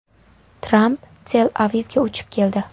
Tramp Tel-Avivga uchib keldi.